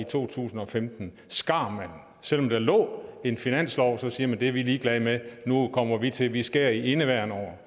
to tusind og femten selv om der lå en finanslov sagde man det er vi ligeglade med nu kommer vi til og vi skærer i indeværende år